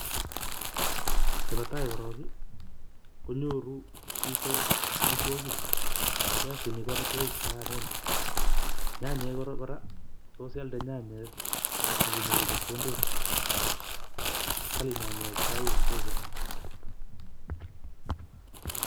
Nebo tai korong eh konyoru chito omitwokik piasinik ko omitwokik chekororonen, nyanyek koraa tos ialde nyanyek ak inyoru chepkondok, kali nyanyek sai en soko.